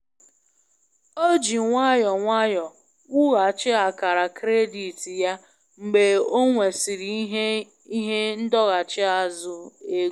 O ji nwayọọ nwayọọ wughachi akara kredit ya mgbe ọ nwesịrị ihe ihe ndọghachi azụ ego.